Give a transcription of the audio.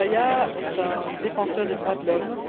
Chebeya est un défenseur des droits de l'homme.